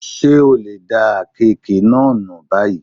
Ṣé o lè da àkekèé náà nù báyìí?